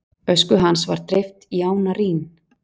Ösku hans var dreift í ána Rín.